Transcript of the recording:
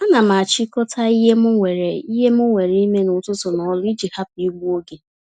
Ánám achikota ihe m nwèrè ihe m nwèrè ime n'ụtụtụ na ọrụ iji hapụ igbu oge